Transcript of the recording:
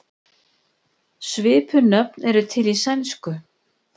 Svipuð nöfn eru til í sænsku.